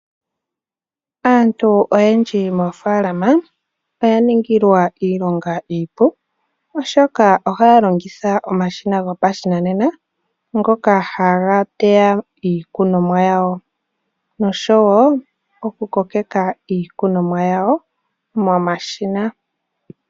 Aantu oyendji moofalama oya ningilwa iilonga iipu, oshoka ohaya longitha omashina go pashinanena ngoka haga teya iikunomwa yawo, osho wo oku kokeka ikunomwa yawo momashina.